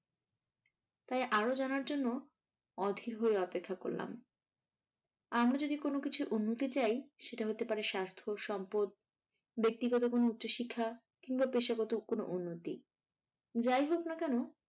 তাই আরো জানার জন্য অধীর হয়ে অপেক্ষা করলাম। আমরা যদি কোনোকিছুর উন্নতি চাই সেটা হতে পারে স্বাস্থ সম্পদ, ব্যাক্তিগত কোনো উচ্চশিক্ষা কিংবা পেশাগত কোনো উন্নতি যাহোক না কেন